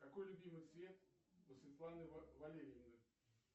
какой любимый цвет у светланы валерьевны